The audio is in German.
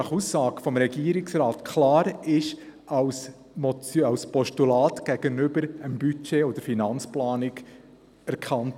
Nach Aussage des Regierungsrates wurden diese klar als Postulat für die Budget- und Finanzplanung erkannt.